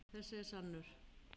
Þessi er sannur.